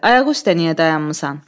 Ayaq üstə niyə dayanmısan?